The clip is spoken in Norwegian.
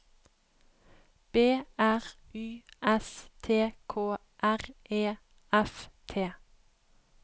B R Y S T K R E F T